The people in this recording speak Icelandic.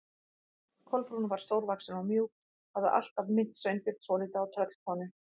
Kolbrún var stórvaxin og mjúk, hafði alltaf minnt Sveinbjörn svolítið á tröllkonu.